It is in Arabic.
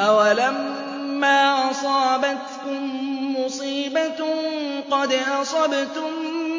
أَوَلَمَّا أَصَابَتْكُم مُّصِيبَةٌ قَدْ أَصَبْتُم